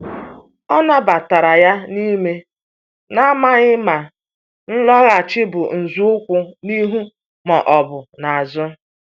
O nabatara ya n’ime, na-amaghị ma ịlọghachi bụ nzọụkwụ n’ihu ma ọ bụ n’azụ.